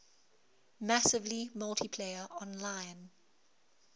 massively multiplayer online